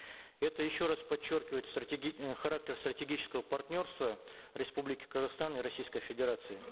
это еще раз подчеркивает э характер стратегического партнерства республики казахстан и российской федерации